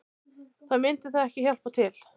Þá myndi það ekki hjálpa til